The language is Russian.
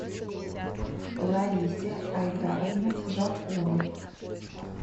ларисе айдаровне жарковой